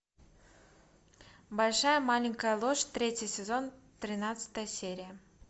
большая маленькая ложь третий сезон тринадцатая серия